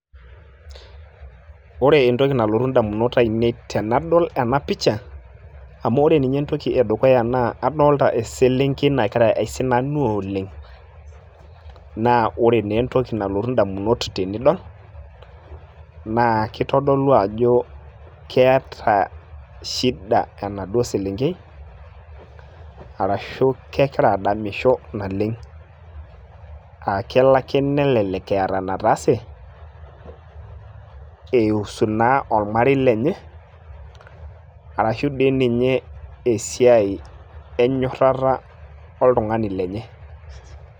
ore entoki nalotu indamunot ainei tenadol ena picha amu ore ninye entoki edukuya naa adolita eselenkei nagira aisinanu oleng naa ore naa entoki nalotu indamunot tenidol naa kitodolu ajo keete shida enaduo selenkei arashu kekira adamisho naleng aa kelo ake nelelek eeta enetaase eiusu naa ormarei lenye arashu dii ninye esiai enyorrata oltung`ani lenye.